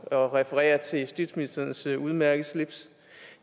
at referere til justitsministerens udmærkede slips